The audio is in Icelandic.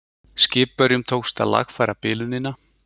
Skipverjum tókst að lagfæra bilunina